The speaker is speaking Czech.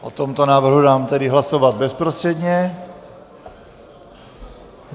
O tomto návrhu dám tedy hlasovat bezprostředně.